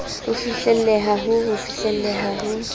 ho fihlelleha ho fihlelleha ho